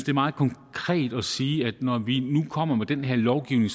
er meget konkret at sige at når vi nu kommer med den her lovgivning